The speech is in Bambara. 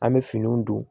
An bɛ finiw don